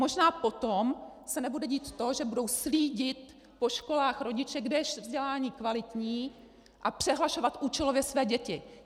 Možná potom se nebude dít to, že budou slídit po školách rodiče, kde je vzdělání kvalitní, a přehlašovat účelově své děti.